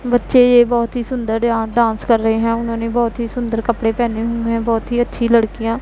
बच्चे ये बहुत ही सुंदर यहां डांस कर रहे हैं उन्होंने बहुत ही सुंदर कपड़े पहने हुए हैं बहुत ही अच्छी लड़कियां --